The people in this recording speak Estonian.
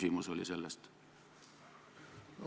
Minu küsimus oli selle kohta.